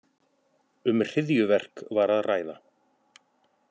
Um hryðjuverk var að ræða